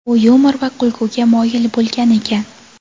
U yumor va kulguga moyil bo‘lgan ekan.